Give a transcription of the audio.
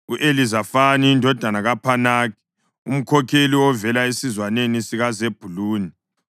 u-Elizafani indodana kaPhanaki, umkhokheli ovela esizwaneni sikaZebhuluni;